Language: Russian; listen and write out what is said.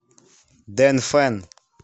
дэнфэн